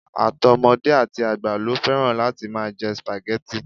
Àtọmọdé àti àgbà ló fẹ́ràn láti máa jẹ spaghetti